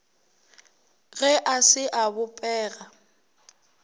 ge a se a bopega